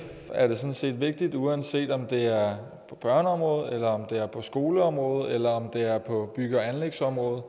er det sådan set vigtigt uanset om det er på børneområdet eller om det er på skoleområdet eller om det er på bygge og anlægsområdet